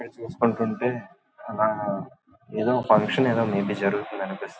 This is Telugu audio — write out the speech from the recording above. ఇక్కడ చూసుకుంటుంటే అలా ఏదో ఫంక్షన్ ఏదో మే బీ జరుగుతుంది అనిపిస్తున్నది.